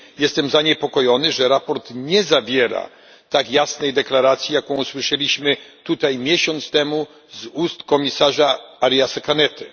Jestem zaniepokojony, że sprawozdanie nie zawiera tak jasnej deklaracji, jaką usłyszeliśmy tutaj miesiąc temu z ust komisarza Ariasa Cañete.